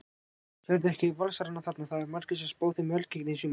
Sérðu ekkert Valsarana þarna, það eru margir sem spá þeim velgengni í sumar?